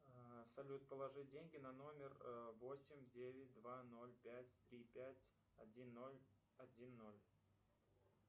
салют положи деньги на номер восемь девять два ноль пять три пять один ноль один ноль